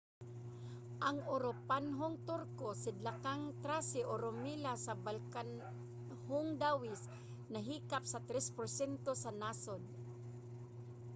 ang uropanhong turko sidlakang thrace o rumelia sa balkanhong dawis nahilakip sa 3% sa nasod